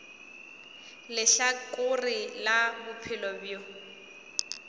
le lehlakore la bophelo bjo